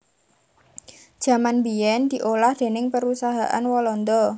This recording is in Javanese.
Jaman biyèn diolah déning Perusahaan Walanda